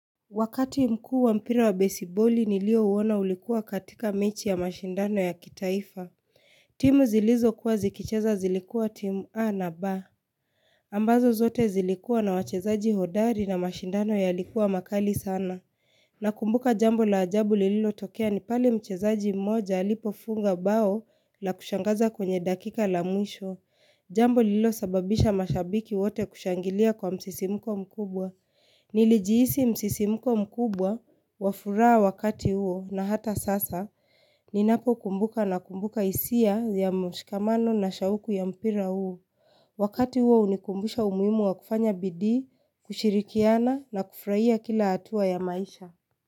Wakati mkuu wa mpira wa besiboli nilio uona ulikuwa katika mechi ya mashindano ya kitaifa. Timu zilizo kuwa zikicheza zilikuwa timu A na B. Ambazo zote zilikuwa na wachezaji hodari na mashindano yalikuwa makali sana. Nakumbuka jambo la ajabu lililo tokea ni pale mchezaji mmoja alipofunga bao la kushangaza kwenye dakika la mwisho. Jambo lililo sababisha mashabiki wote kushangilia kwa msisimuko mkubwa. Nilijihisi msisimuko mkubwa wa furaha wakati huo na hata sasa ninapo kumbuka nakumbuka hisia ya mshikamano na shauku ya mpira huo. Wakati huo hunikumbusha umuhimu wa kufanya bidii, kushirikiana na kufurahia kila hatua ya maisha.